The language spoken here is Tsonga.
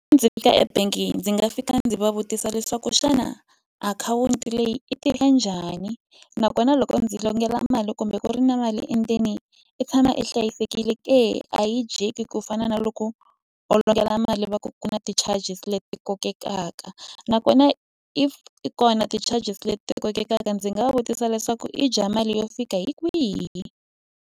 Ndzi fika ebangini ndzi nga fika ndzi va vutisa leswaku xana akhawunti leyi i tirha njhani nakona loko ndzi longela mali kumbe ku ri na mali endzeni i tshama i hlayisekile ke a yi dyeki ku fana na loko u longela mali va ku ku na ti-charges leti kokekaka nakona if ti kona ti-charges leti kokekaka ndzi nga va vutisa leswaku i dya mali yo fika hi kwihi.